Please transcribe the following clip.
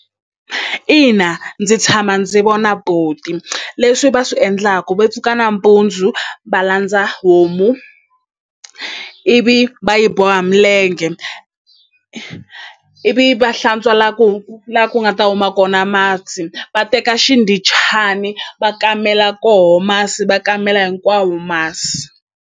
Ina ndzi tshama ndzi vona buti leswi va swi endlaka va pfuka nampundzu va landza homu ivi va yi boha milenge ivi va hlantswela ku la ku nga ta huma kona masi va teka xindhichana va kamela koho masi va kamela hinkwawo masi.